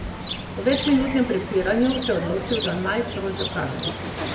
Po večminutnem prepiranju se je odločil za najstrožjo kazen.